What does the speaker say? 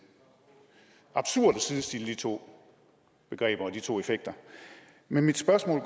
absurd at sidestille de to begreber og de to effekter men mit spørgsmål